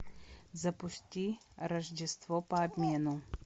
запусти рождество по обмену